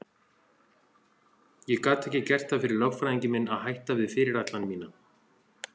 Ég gat ekki gert það fyrir lögfræðing minn að hætta við fyrirætlun mína.